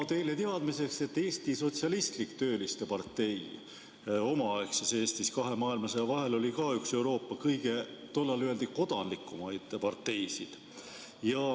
Teile teadmiseks: Eesti Sotsialistlik Tööliste Partei omaaegses Eestis kahe maailmasõja vahel oli ka üks Euroopa kõige, tollal öeldi, kodandlikumaid parteisid.